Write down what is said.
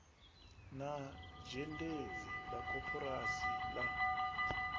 na zhendedzi la koporasi la